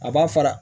A b'a fara